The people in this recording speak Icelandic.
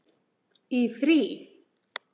Í frí.